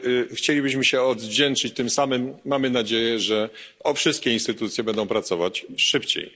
Chcielibyśmy się odwdzięczyć tym samym mamy nadzieję, że wszystkie instytucje będą pracować szybciej.